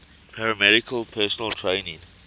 paramedical personnel training